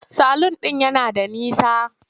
Salun ɗin yana da nisa.